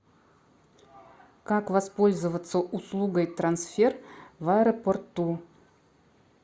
как воспользоваться услугой трансфер в аэропорту